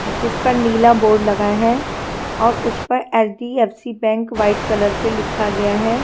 जिसपर नीला बोर्ड लगा है और उसपे H -D -F -C bank white colour से लिखा गया है।